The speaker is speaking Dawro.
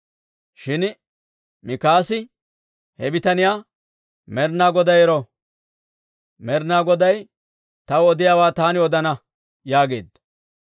Shin Mikaasi he bitaniyaa, «Med'inaa Goday ero! Med'inaa Goday taw odiyaawaa taani odana» yaageedda.